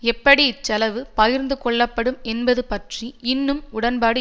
எப்படி இச்செலவு பகிர்ந்து கொள்ளப்படும் என்பது பற்றி இன்னும் உடன்பாடு